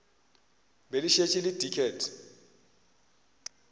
be le šetše le diket